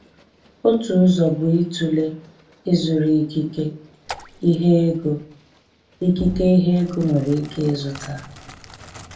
Otu ụzọ bụ ịtụle ịzụrụ ikike, ihe ego ikike, ihe ego nwere ike ịzụta.